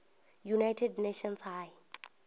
united nations high